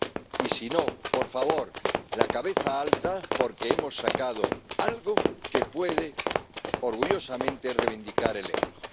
Y, si no, por favor la cabeza alta, porque hemos sacado algo que puede orgullosamente reivindicar el euro.